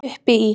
Uppi í